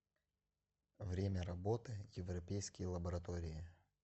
время работы европейские лаборатории